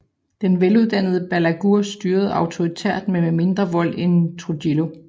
Den veluddannede Balaguer styrede auktoritært men med mindre vold end Trujillo